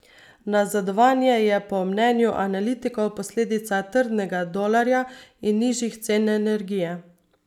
Nazadovanje je po mnenju analitikov posledica trdnega dolarja in nižjih cen energije.